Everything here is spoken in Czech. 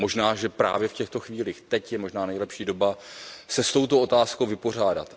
Možná, že právě v těchto chvílích, teď, je možná nejlepší doba se s touto otázkou vypořádat.